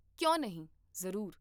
ਕਿਉਂ ਨਹੀਂ, ਜ਼ਰੂਰ